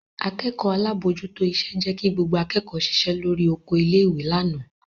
Akẹ́kọ̀ọ́ alábòójútó iṣẹ́ jẹ́ kí gbogbo akẹ́kọ̀ọ́ ṣiṣẹ́ lórí oko ilé-ìwé lánàá.